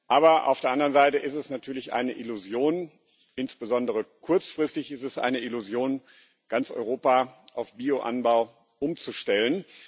Aber auf der anderen Seite ist es natürlich eine Illusion, insbesondere kurzfristig ist es eine Illusion, ganz Europa auf Bio Anbau umzustellen.